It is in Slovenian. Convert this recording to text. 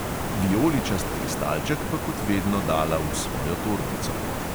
Vijoličast kristalček pa kot vedno dala v svojo torbico.